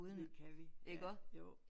Det kan vi ja jo